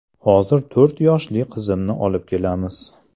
Hozir to‘rt yoshli qizimni olib kelamiz.